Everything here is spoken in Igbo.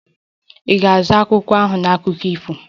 Ị ga-azụta akwụkwọ ahụ na akụkọ ifo?